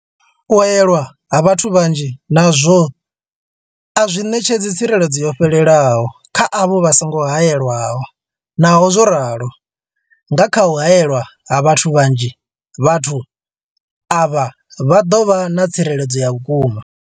U haelwa ha vhathu vhanzhi nazwo a zwi ṋetshedzi tsireledzo yo fhelelaho kha avho vha songo haelwaho, Naho zwo ralo, nga kha u haelwa ha vhathu vhanzhi, vhathu avha vha ḓo vha na tsireledzo ya vhukuma.